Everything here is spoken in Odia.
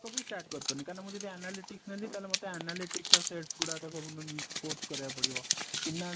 ସେଗୁଡାକ ବି start କରି ପାରୁନି କାରଣ ମୁଁ ଯଦି analytics ନେଲି ତାହେଲେ ମତେ analytics ର sets ଗୁଡାକ ସବୁ course କରିବାକୁ ପଡିବ finance